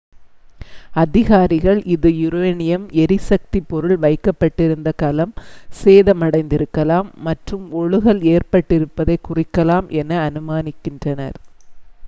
அதிகாரிகள் இது யுரேனியம் எரிசக்திப் பொருள் வைக்கப்பட்டிருந்த கலம் சேதமடைந்திருக்கலாம் மற்றும் ஒழுகல் ஏற்பட்டிருப்பதைக் குறிக்கலாம் என அனுமானிக்கின்றனர்